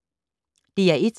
DR1